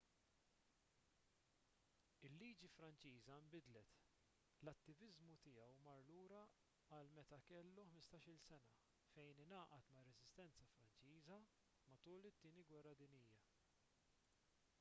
il-liġi franċiża nbidlet l-attiviżmu tiegħu mar lura għal meta kellu 15-il sena fejn ingħaqad mar-reżistenza franċiża matul it-tieni gwerra dinjija